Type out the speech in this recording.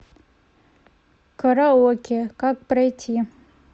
караоке как пройти